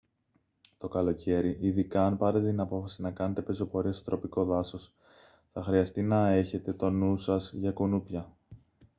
το καλοκαίρι ειδικά αν πάρετε την απόφαση να κάνετε πεζοπορία στο τροπικό δάσος θα χρειαστεί να έχετε τον νου σας για κουνούπια